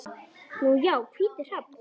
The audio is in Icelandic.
Nú já, hvítur hrafn.